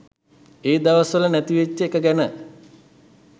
ඒ දවස් වල නැති වෙච්ච එක ගැන